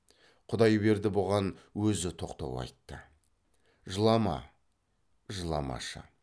құдайберді бұған өзі тоқтау айтты жылама жыламашы